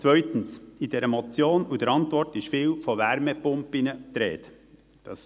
Zweitens: In dieser Motion und der Antwort ist viel von Wärmepumpen die Rede.